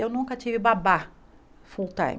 Eu nunca tive babá full time.